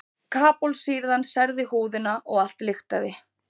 Karbólsýran særði húðina og allt lyktaði.